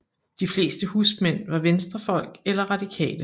De fleste husmænd var venstrefolk eller radikale